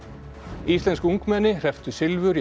íslensk ungmenni hrepptu silfur í